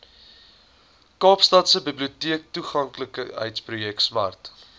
kaapstadse biblioteektoeganklikheidsprojek smart